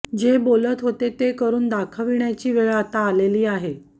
जे बोलत होते ते करुन दाखवण्याची वेळ आता आलेली आहे